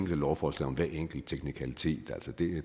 lovforslag om hver enkelt teknikalitet